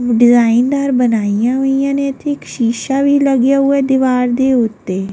ਡਿਜ਼ਾਈਨਦਾਰ ਬਣਾਈਆ ਹੋਈਆਂ ਨੇ ਇੱਥੇ ਇੱਕ ਸ਼ੀਸ਼ਾ ਵੀ ਲੱਗਿਆ ਹੋਇਆ ਹੈ ਦੀਵਾਰ ਦੇ ਉੱਤੇ।